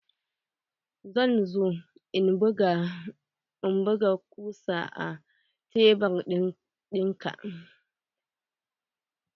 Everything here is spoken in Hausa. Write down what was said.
Zan zo in buga kusa a tebur ɗinga.